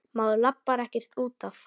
Maður labbar ekkert út af.